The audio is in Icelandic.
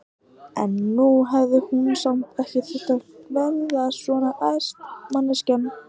En hún hefði nú samt ekki þurft að verða svona æst, manneskjan!